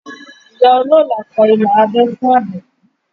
Ìyá olóólà kọ ilà abẹ́ fún Àbẹ̀bí